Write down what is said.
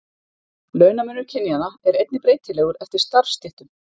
Launamunur kynjanna er einnig breytilegur eftir starfsstéttum.